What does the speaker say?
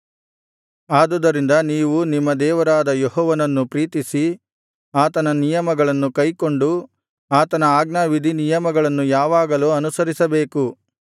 ಆದುದರಿಂದ ನೀವು ನಿಮ್ಮ ದೇವರಾದ ಯೆಹೋವನನ್ನು ಪ್ರೀತಿಸಿ ಆತನ ನಿಯಮಗಳನ್ನು ಕೈಕೊಂಡು ಆತನ ಆಜ್ಞಾವಿಧಿನಿಯಮಗಳನ್ನು ಯಾವಾಗಲೂ ಅನುಸರಿಸಬೇಕು